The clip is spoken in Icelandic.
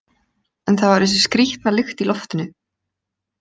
En það var þessi skrýtna lykt í loftinu.